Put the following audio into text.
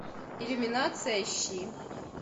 иллюминация ищи